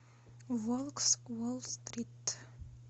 волк с уолт стрит